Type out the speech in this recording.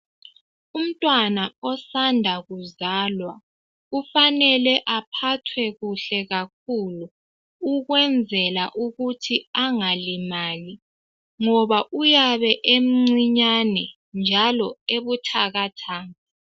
Umntwana osanda kuzalwa kufanele uphathwe kuhle kakhulu ukwenzela ukuthi angalimali ngoba uyabe emncinyane njalo ebuthakathaka.